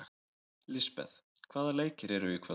Lisbeth, hvaða leikir eru í kvöld?